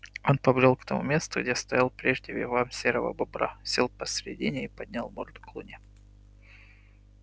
он побрёл к тому месту где стоял прежде вигвам серого бобра сел посредине и поднял морду к луне